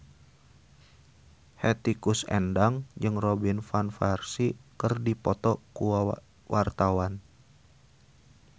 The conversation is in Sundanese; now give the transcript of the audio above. Hetty Koes Endang jeung Robin Van Persie keur dipoto ku wartawan